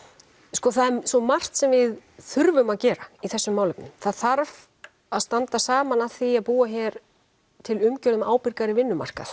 sko það er svo margt sem við þurfum að gera í þessum málefnum það þarf að standa saman að því að búa hér til umgjörð um ábyrgari vinnumarkað